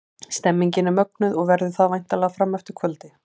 Stemningin er mögnuð og verður það væntanlega fram eftir kvöldi!